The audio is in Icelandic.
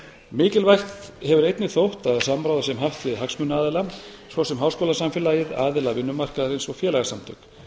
mikilvægt hefur einnig þótt að samráð sé haft við hagsmunaaðila svo sem háskólasamfélagið aðila vinnumarkaðarins og félagasamtök